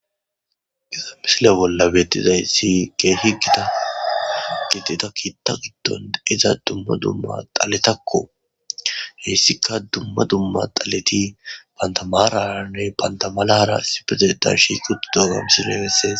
Issi misile bolla bettizay si gee higida gitida kiitta giddon iza dumma dumma xaletakko heessika dumma dumma xaleti bantamaranne bantamalara sifete darshi qud dogam silegessees